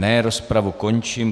Ne, rozpravu končím.